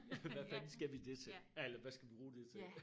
Ja hvad fanden skal vi det til eller hvad skal vi bruge det til